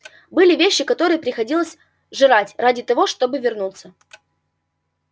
были вещи которые приходилось жрать ради того чтобы вернуться